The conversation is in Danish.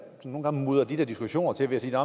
nogle gange mudrer de der diskussioner til ved at sige at